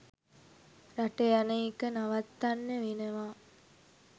රට යන එක නවත්තන්න වෙනවා